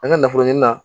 An ka nafolo ɲini na